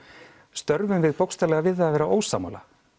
störfum við bókstaflega við það að vera ósammála